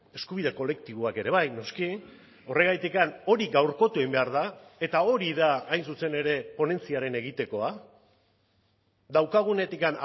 eskubide kolektiboak ere bai noski horregatik hori gaurkotu egin behar da eta hori da hain zuzen ere ponentziaren egitekoa daukagunetik